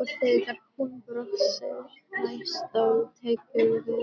Og þegar hún brosir næst þá tekurðu